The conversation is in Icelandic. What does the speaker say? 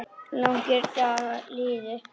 Þrír langir dagar liðu.